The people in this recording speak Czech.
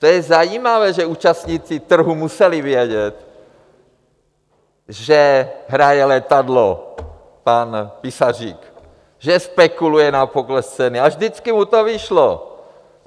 To je zajímavé, že účastníci trhu museli vědět, že hraje letadlo pan Písařík, že spekuluje na pokles ceny, a vždycky mu to vyšlo.